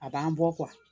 A b'an bɔ